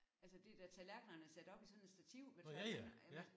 Altså de der tallerkenerne er sat op i sådan et stativ med tørre